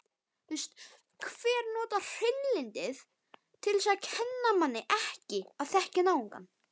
Hreinlyndið kennir manni ekki að þekkja náungann.